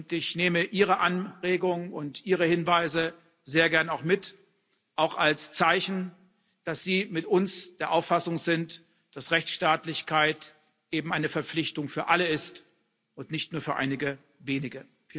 Ich nehme Ihre Anregungen und Ihre Hinweise sehr gerne mit, auch als Zeichen, dass Sie mit uns der Auffassung sind, dass Rechtsstaatlichkeit eben eine Verpflichtung für alle ist und nicht nur für einige wenige.